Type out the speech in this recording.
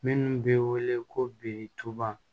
Minnu bɛ wele ko bitɔn